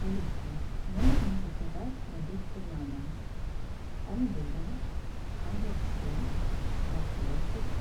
алиса мне нужно заказать продукты на дом помидоры огурцы картофель